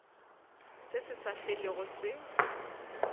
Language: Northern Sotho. se se sa felego se